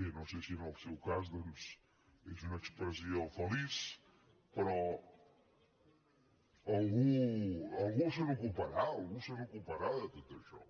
bé no sé si en el seu cas doncs és una expressió feliç però algú se n’ocuparà algú se n’ocuparà de tot això